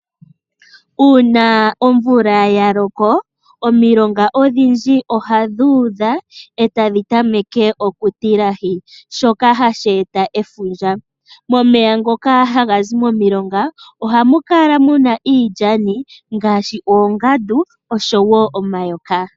Uuna omvula ya loko omilonga odhindji ohadhi udha e tadhi tameke okutilahi shoka hashi eta efundja. Momeya ngoka haga zi momilonga ohamu kala mu na iilyani ngaaashi oongandu noshowo omayoka.